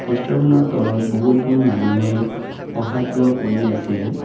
প'ষ্টাৰখনৰ তলত বহুতবোৰ মানুহে অহা যোৱা কৰি আছে।